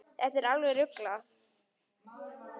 Þetta er alveg ruglað.